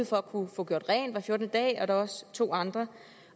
for at kunne få gjort rent hver fjortende dag og der også to andre